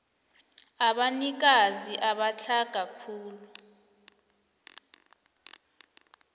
abanikazi abatlhaga khulu